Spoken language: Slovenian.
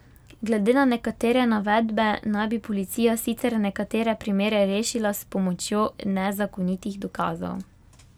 Glede na nekatere navedbe naj bi policija sicer nekatere primere rešila s pomočjo nezakonitih dokazov.